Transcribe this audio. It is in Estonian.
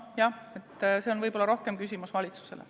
Jah, see on võib-olla rohkem küsimus valitsusele.